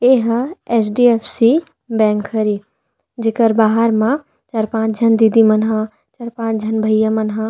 एहा H D F C bank हरे जीकर बाहर मा चार पाँच झन दीदी मन हा चार पाँच झन भईया मन हा।